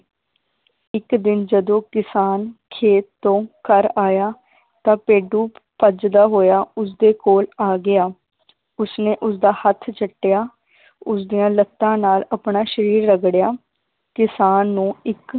ਇਕ ਦਿਨ ਜਦੋ ਕਿਸਾਨ ਖੇਤ ਤੋਂ ਘਰ ਆਇਆ ਤਾਂ ਭੇਡੂ ਭੱਜਦਾ ਹੋਇਆ ਉਸਦੇ ਕੋਲ ਆ ਗਿਆ ਉਸਨੇ ਉਸਦਾ ਹੱਥ ਚੱਟਿਆ ਉਸਦੀਆਂ ਲੱਤਾਂ ਨਾਲ ਆਪਣਾ ਸ਼ਰੀਰ ਰਗੜਿਆ ਕਿਸਾਨ ਨੂੰ ਇੱਕ